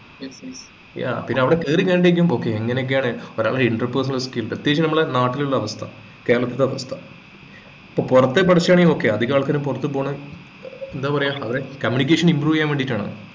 yea പിന്നെ അവിടെ കേറി കഴിഞ്ഞാലേക്കും okay ഇങ്ങനെയൊക്കെയാണ് ഒരാളുടെ inter personal skill പ്രത്യേകിച്ച് നമ്മളെ നാട്ടിലുള്ള അവസ്ഥ കേരളത്തിലെ അവസ്ഥ അപ്പൊ പുറത്ത് പഠിച്ചതാണെങ്കി okay അധികാൾക്കാരും പുറത്തുപോകുന്നത് ഏർ എന്താ പറയാ അവരെ communication impove ചെയ്യാൻ വേണ്ടിയിട്ടാണ്